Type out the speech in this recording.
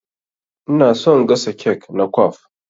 Ina son gasa kek na kwaf.